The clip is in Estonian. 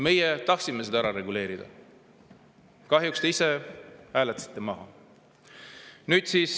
Meie tahtsime seda reguleerida, aga kahjuks te ise hääletasite maha.